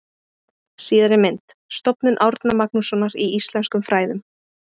Síðari mynd: Stofnun Árna Magnússonar í íslenskum fræðum.